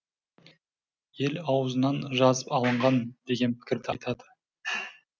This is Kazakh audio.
ел аузынан жазып алынған деген пікір айтады